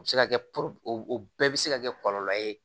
O bɛ se ka kɛ o bɛɛ bɛ se ka kɛ kɔlɔlɔ ye